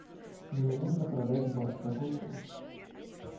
мне нужно продать бат какой курс